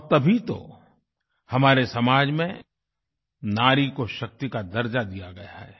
और तभी तो हमारे समाज में नारी को शक्ति का दर्जा दिया गया है